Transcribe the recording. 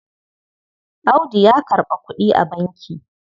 Audu ya karɓa kuɗi a banki.